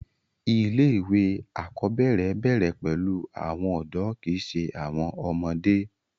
ilé ìwé àkọ́bẹ̀rẹ̀ bẹ̀rẹ̀ pẹ̀lú áwọn ọ̀dọ́ kìí ṣe àwọn ọmọdé